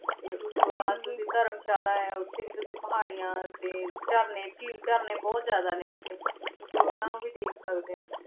ਤੇ ਓਸ ਤੋਂ ਬਾਅਦ ਹਾਂਜੀ ਧਰਮਸ਼ਾਲਾ ਆਯ ਆ ਓਥੇ ਵੀ ਤੁਸੀਂ ਪਹਰਿਯਾਂ ਤੇ ਝਰਨੇ ਝੀਲ ਝਰਨੇ ਬੋਹਤ ਜਿਆਦਾ ਨੇ ਓਥੇ ਤੁਸੀਂ ਓਨਾਂ ਨੂ ਵੀ ਦੇਖ ਸਕਦੇ ਊ